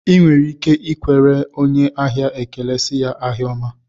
I nwere ike ikwere onye ahịa ekele sị ya, ahịa ọma